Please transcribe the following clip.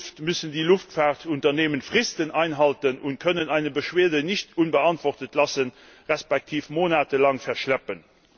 In Zukunft müssen die Luftfahrtunternehmen Fristen einhalten und können eine Beschwerde nicht unbeantwortet lassen respektive monatelang verschleppen.